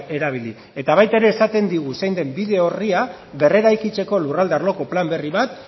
erabili eta baita ere esaten digu zein den bide orria berreraikitzeko lurralde arloko plan berri bat